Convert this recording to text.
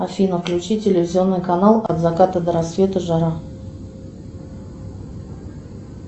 афина включи телевизионный канал от заката до рассвета жара